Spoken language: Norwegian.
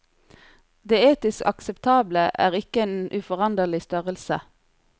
Det etisk akseptable er ikke en uforanderlig størrelse.